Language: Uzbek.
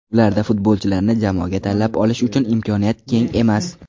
Ularda futbolchilarni jamoaga tanlab olish uchun imkoniyat keng emas.